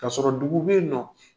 K'a sɔrɔ dugu be yennɔ